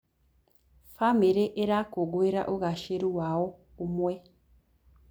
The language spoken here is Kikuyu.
Bamĩrĩ ĩrakũngũĩra ũgacĩĩru wa o ũmwe.